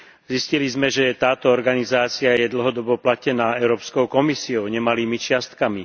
Zistili sme, že táto organizácia je dlhodobo platená Európskou komisiou nemalými čiastkami.